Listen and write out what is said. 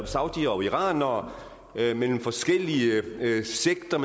saudiere og iranere mellem forskellige sekter